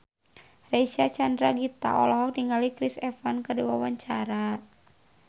Reysa Chandragitta olohok ningali Chris Evans keur diwawancara